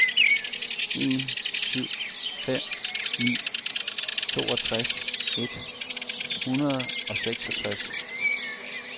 en syv fem ni toogtres et hundrede og seksogtres